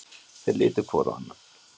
Þeir litu hvor á annan.